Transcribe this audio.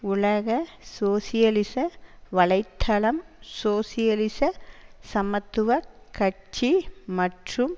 உலக சோசியலிச வலை தளம் சோசியலிச சமத்துவ கட்சி மற்றும்